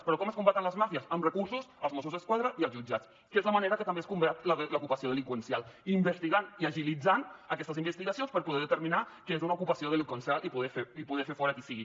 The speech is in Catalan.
però com es combaten les màfies amb recursos els mossos d’esquadra i els jutjats que és la manera que també es combat l’ocupació delinqüencial investigant i agilitzant aquestes investigacions per poder determinar que és una ocupació delinqüencial i poder fer fora qui sigui